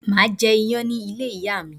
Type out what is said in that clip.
Máà jẹ iyán ní ilé ìyá mi